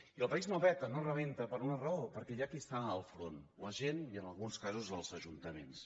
i el país no peta no rebenta per una raó perquè hi ha qui està al capdavant la gent i en alguns casos els ajuntaments